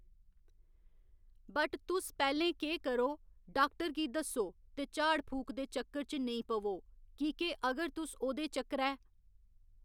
but तुस पैह्‌लें केह् करो डाक्टर गी दस्सो ते झाड़ फूक दे चक्कर च नेईं पवो की के अगर तुस ओह्दे चक्करै